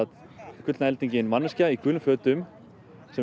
gullna eldingin manneskja í gulum fötum sem